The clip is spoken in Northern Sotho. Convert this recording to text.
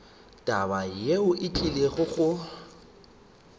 taba yeo e tlile go